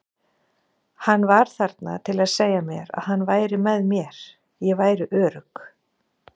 Hann var þarna til að segja mér að hann væri með mér, ég væri örugg.